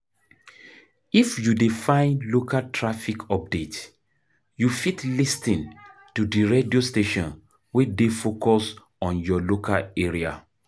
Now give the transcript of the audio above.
If you dey find local traffic update you fit lis ten to di radio station wey dey focus on your local area